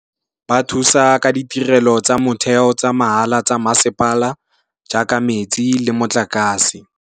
Ba thusa ka ditirelo tsa motheo tsa mahala tsa masepala jaaka metsi le motlakase.